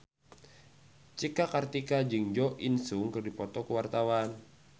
Cika Kartika jeung Jo In Sung keur dipoto ku wartawan